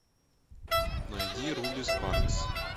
найди руби спаркс